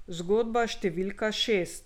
Zgodba številka šest.